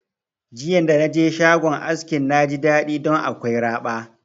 Jiya da naje shagon askin na ji daɗi ɗon akwai raba